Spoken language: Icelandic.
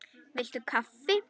Viltu kaffi?